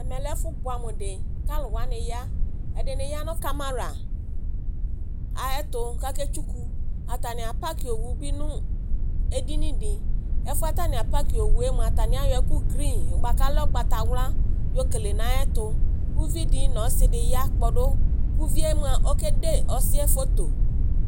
Ɛmɛ lɛ ɛfʋ bʋamʋ dɩ Kaalʋwanɩ ya Ɛdɩnɩ ya nʋ camaraayɛtʋ kaketsʋkʋ atanɩ apakɩ owʋ bɩ nʋ edinɩ dɩ ɛfʋɛ atanɩ apakɩ owʋe mʋa atanɩ ayɔ ɛkʋ green bʋa kalɛ ʋgbatawla yɔkele nayɛtʋ kʋ ʋvi dɩ nɔsɩ ya kpɔdʋ kʋvɩe mʋa okede ɔsɩɛ foto